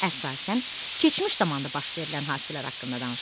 Əsasən, keçmiş zamanda baş verilən hadisələr haqqında danışılır.